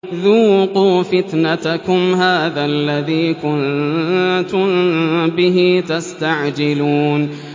ذُوقُوا فِتْنَتَكُمْ هَٰذَا الَّذِي كُنتُم بِهِ تَسْتَعْجِلُونَ